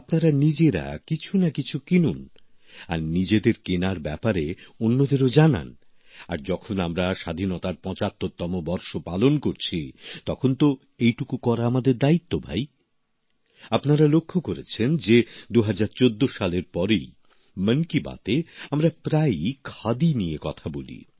আপনারা নিজেরা কিছুনাকিছু কিনুন আর নিজেদের কেনার ব্যাপারে অন্যদেরও জানান আর যখন আমরা স্বাধীনতার পঁচাত্তরতম বর্ষ পালন করছি তখন তো এইটুকু করা আমাদের দায়িত্ব ভাই আপনারা লক্ষ্য করেছেন যে ২০১৪ সালের পরেই মন কি বাতে আমরা প্রায়ই খাদি নিয়ে কথা বলি